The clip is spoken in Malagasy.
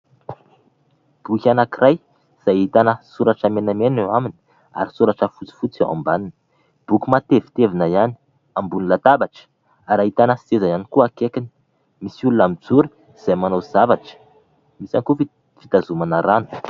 Boky anankiray izay ahitana soratra menamena eo aminy ary soratra fotsifotsy eo ambaniny. Boky matevitevina ihany, ambony latabatra ary ahitana seza ihany koa akaikiny. Misy olona mijoro izay manao zavatra. Ahitana kaopy fitazomana rano.